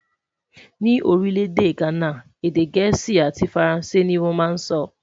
Ní orí lédè ghánà, èdè gèésì àti faransé ní wón má sọ.